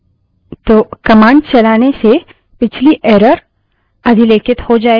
तो कमांड चलाने से पिछली error अधिलेखित हो जायेगी और नई error दिखाई देगी